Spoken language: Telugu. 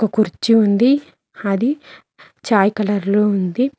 ఒ కుర్చీ ఉంది అది చాయ్ కలర్ లో ఉంది.